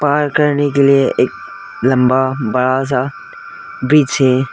Park करने के लिए एक लम्बा बड़ा सा ब्रिज है।